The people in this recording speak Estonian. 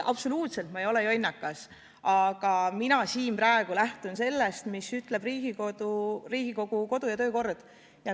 Ma absoluutselt ei ole jonnakas, aga mina praegu siin lähtun sellest, mida ütleb Riigikogu kodu- ja töökorra seadus.